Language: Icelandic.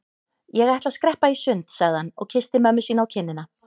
Ég ætla að skreppa í sund sagði hann og kyssti mömmu sína á kinnina.